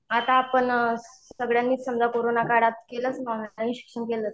आता आपण सगळ्यांनी समजा कोरोना काळात केलंच ना ऑनलाईन शिक्षण केलंच.